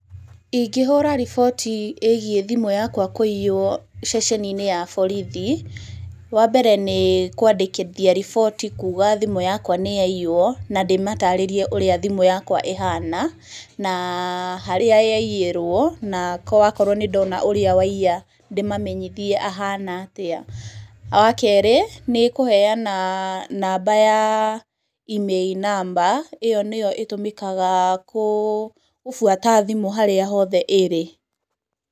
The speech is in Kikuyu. Ingĩhũra riboti ĩgiĩ thimũ yakwa kũiywo ceceni-inĩ ya borithi, wa mbere nĩ kũandĩkithia riboti kuuga thimũ yakwa nĩ yaiywo, na ndĩmatarĩrie ũrĩa thimũ yakwa ĩhana, na harĩa yaiyĩrwo na wakorwo nĩ ndona ũrĩa waiya ndĩmamenyithie ahana atĩa. Wa kerĩ, nĩ kũheana namba ya IMEI namba, ĩyo nĩyo ĩtũmĩkaga gũbuata thimũ harĩa hothe ĩrĩ.